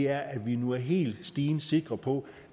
er at vi nu er helt stensikre på